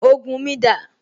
Ògùn mi dà?